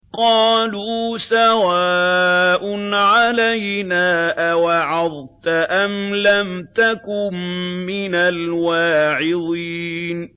قَالُوا سَوَاءٌ عَلَيْنَا أَوَعَظْتَ أَمْ لَمْ تَكُن مِّنَ الْوَاعِظِينَ